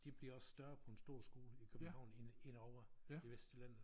De bliver også større end på en stor skole i København end end ovre i Vestjylland